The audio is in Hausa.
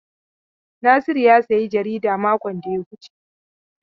Nasiru ya sayi jarida makon da ya wuce.